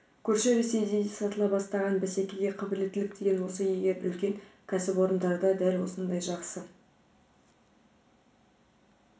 көрші ресейде де сатыла бастаған бәсекеге қабілеттілік деген осы егер үлкен кәсіпорындарда дәл осындай жақсы